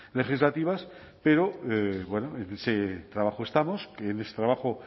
legislativas pero en ese trabajo estamos que en ese trabajo